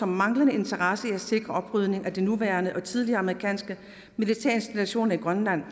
manglende interesse i at sikre oprydning efter nuværende og tidligere amerikanske militærinstallationer i grønland